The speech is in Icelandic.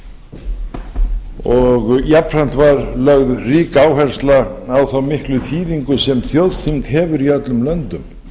og jafnframt var lögð rík áhersla á þá miklu þýðingu sem þjóðþing hefur í öllum löndum